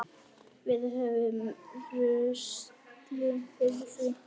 Við höfum reynslu fyrir því.